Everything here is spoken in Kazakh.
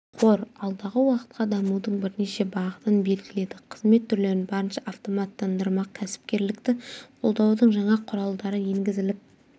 қор алдағы уақытқа дамудың бірнеше бағытын белгіледі қызмет түрлерін барынша автоматтандырмақ кәсіпкерлікті қолдаудың жаңа құралдары енгізіліп